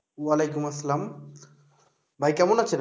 ওয়ালাইকুম আসসালাম। ভাই কেমন আছেন?